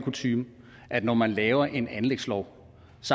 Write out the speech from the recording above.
kutyme at når man laver en anlægslov